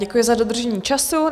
Děkuji za dodržení času.